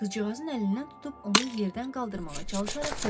Qızcığazın əlindən tutub onu yerdən qaldırmağa çalışaraq dedi: